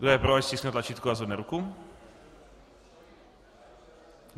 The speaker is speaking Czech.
Kdo je pro, ať stiskne tlačítko a zvedne ruku.